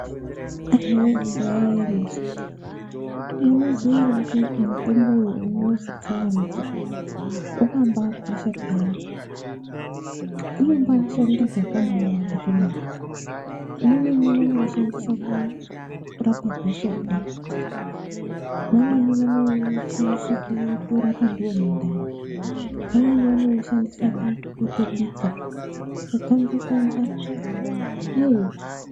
Anhuwee imboyaiyai muzwe! Munoziya here kuti mutombo uyo unozi tsangamidzi uyo, wakambakosha phiyani? Unombashanda zvakabawanda kwemene. Vamweni vanoushandisa kurapa gosogwa. Vamweni vanoushandisa kutorapa ndiwo mundani. Vamweni vanoushandisa kutobika . Kukanga kanga eh.